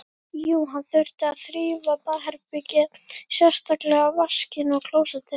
Jú, hann þurfti að þrífa baðherbergið, sérstaklega vaskinn og klósettið.